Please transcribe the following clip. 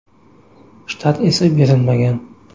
Shtat esa berilmagan.